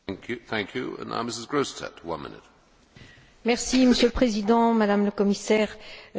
Monsieur le Président, Madame la Commissaire, je voudrais tout d'abord féliciter notre collègue John Bowis, même s'il n'est pas là.